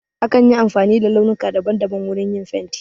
Akan yi amfani da launuka daban daban wurin yin fenti.